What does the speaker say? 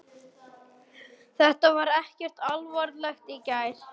Þetta var ekkert alvarlegt í gær.